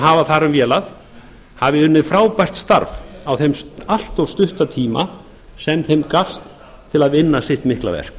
hafa um vélað hafi unnið frábært starf á þeim allt of stutta tíma sem þeim gafst til að vinna sitt mikla verk